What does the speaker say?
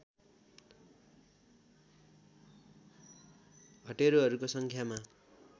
हटेरूहरूको सङ्ख्यामा